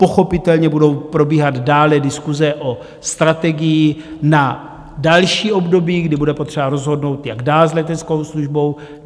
Pochopitelně budou probíhat dále diskuse o strategii na další období, kdy bude potřeba rozhodnout, jak dál s leteckou službou.